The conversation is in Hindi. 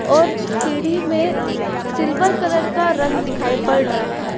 और सीढी में सिल्वर कलर का रंग दिखाई पड़ रहा है।